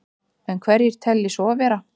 En hverjir telji svo vera?